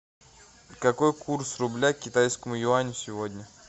какой курс рубля к китайскому юаню сегодня